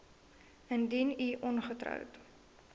indien u ongetroud